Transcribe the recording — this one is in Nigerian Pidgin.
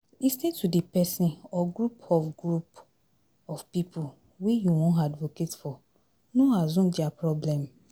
Lis ten to di person or group of group of pipo wey you wan advocate for, no assume their problem